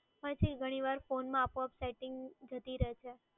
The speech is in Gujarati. હોય છે એ ઘણીવાર ફોનમાં આપોઆપ સેટિંગ જતી રહે છે.